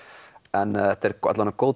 en þetta er alla vega góð